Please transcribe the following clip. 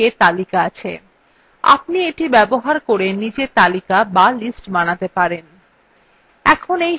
আপনি এটি ব্যবহার করে নিজে তালিকা বা lists বানাতে পারবেন